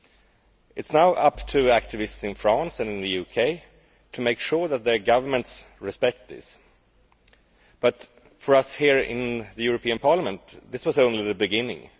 It is now up to activists in France and in the UK to make sure that their governments respect this. But for us here in the European Parliament, this was only the beginning.